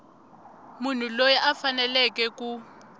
munhu loyi a faneleke ku